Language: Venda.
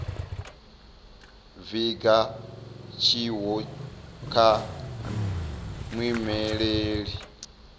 vhiga tshiwo kha muimeleli wa